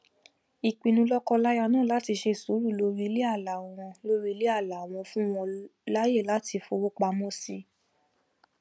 ìpinnu lọkọláya náà láti ṣe sùúrù lórí iléàlá wọn lórí iléàlá wọn fún wọn láàyè láti fowópamọ sí i